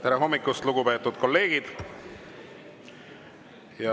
Tere hommikust, lugupeetud kolleegid!